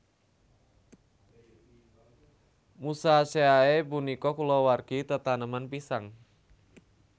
Musaceae punika kulawargi tetaneman pisang